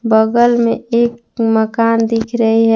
बगल में एक मकान दिख रही है।